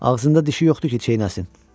Ağzında dişi yoxdur ki, çeynəsin.